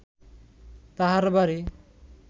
তাঁহার বাড়ি